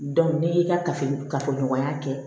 n'i y'i ka kafo kafoɲɔgɔnya kɛ